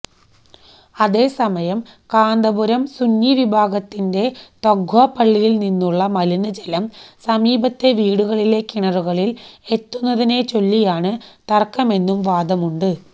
അതേസമയം കാന്തപുരം സുന്നി വിഭാഗത്തിന്റെ തഖ്വ പള്ളിയിൽ നിന്നുള്ള മലിനജലം സമീപത്തെ വീടുകളിലെ കിണറുകളിൽ എത്തുന്നതിനെച്ചൊല്ലിയാണ് തർക്കമെന്നും വാദമുണ്ട്